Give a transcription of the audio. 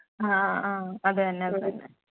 ആഹ് അത് തന്നെ അത് തന്നെ